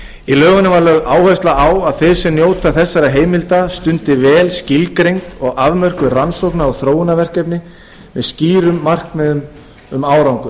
lögð áhersla á að þeir sem njóta þessara heimilda stundi vel skilgreind og afmörkuð rannsókna og þróunarverkefni með skýrum markmiðum um árangur